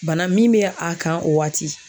Bana min bɛ a kan o waati